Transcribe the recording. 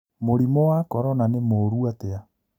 Mũrimũ wa Korona nĩ mũũru atĩa ?